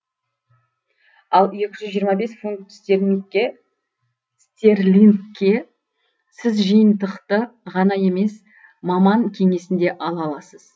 ал екі жүз жиырма бес фунт стерлингке сіз жиынтықты ғана емес маман кеңесін де ала аласыз